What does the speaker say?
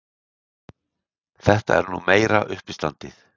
Þetta er nú meira uppistandið!